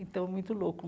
Então, muito louco.